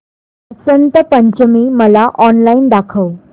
वसंत पंचमी मला ऑनलाइन दाखव